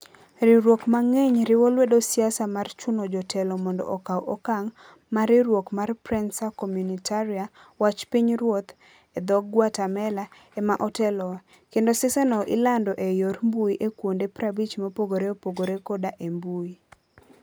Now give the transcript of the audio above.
Riwruok mang'eny riwo lwedo siasa mar chuno jotelo mondo okaw okang ', ma riwruok mar Prensa Comunitaria ("Wach Pinyruoth " e dho - Guatemala) ema oteloe, kendo siasano ilando e yor mbuyi e kuonde 50 mopogore opogore koda e mbui.